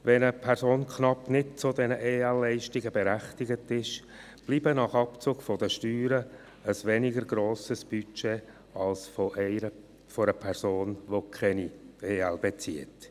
Wenn eine Person knapp nicht zu diesen EL berechtigt ist, bleibt nach Abzug der Steuern ein weniger grosses Budget als bei einer Person, welche keine EL bezieht.